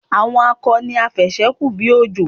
Àwọn akọ ni afẹ̀sẹ́-kù-bí-òjò.